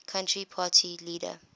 country party leader